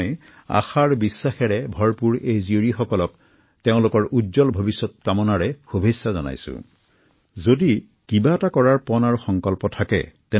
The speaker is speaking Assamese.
ইয়াৰ লগতে তেওঁলোকে দক্ষতা বিকাশৰ এক প্ৰশিক্ষণো গ্ৰহণ কৰি আছে